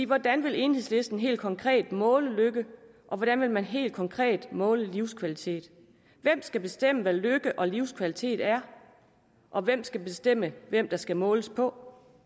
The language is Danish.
hvordan vil enhedslisten helt konkret måle lykke og hvordan vil man helt konkret måle livskvalitet hvem skal bestemme hvad lykke og livskvalitet er og hvem skal bestemme hvem der skal måles på